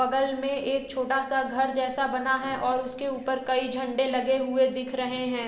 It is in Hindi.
बगल में एक छोटा सा घर जैसा बना है और उसके ऊपर कई झंडे लगे हुए दिख रहे हैं।